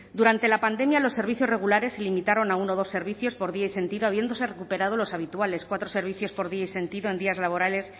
durante la pandemia los servicios regulares se limitaron a uno o dos servicios por día y sentido habiéndose recuperado los habituales cuatro servicios por día y sentido en días laborales